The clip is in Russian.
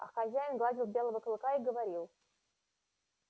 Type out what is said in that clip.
а хозяин гладил белого клыка и говорил